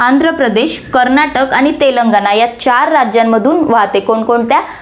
आंध्रप्रदेश, कर्नाटक आणि तेलंगणा या चार राज्यांमधून वाहते, कोण कोणत्या